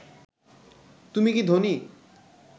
তুমি কি ধোনি